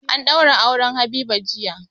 An daura auren Habiba jiya.